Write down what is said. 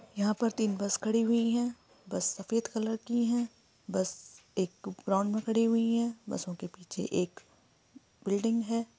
यहाँ पर तीन बस खड़ी हुई है बस सफ़ेद कलर की है बस एक ग्राउंड में खड़ी हुई है बसों के पीछे एक बिल्डिंग है।